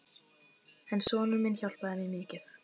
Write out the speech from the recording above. En sonur minn hjálpaði mér mikið.